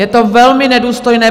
Je to velmi nedůstojné!